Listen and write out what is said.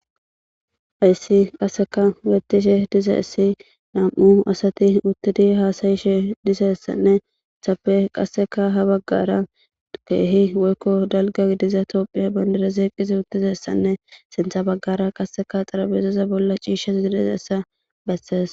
Hayssi qasseka bettishe diza issi nam'u asati uttidi haasayishe disessanne hessppe qasseka ha baggara keehi woykko dalgga gidiza toophphiya bandireze qizi uttizessanne sinththa baggara qasseka xarabezeza bolla ciisha s zilezeessa bessees